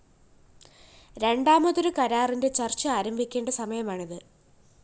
രണ്ടാമതൊരു കരാറിന്റെ ചര്‍ച്ച ആരംഭിക്കേണ്ട സമയമാണിത്